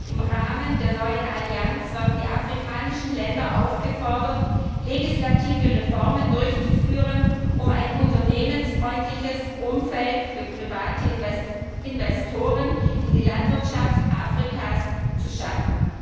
Im Rahmen der neuen Allianz werden die afrikanischen Länder aufgefordert, legislative Reformen durchzuführen, um ein unternehmensfreundliches Umfeld für private Investitionen in die Landwirtschaft Afrikas zu schaffen.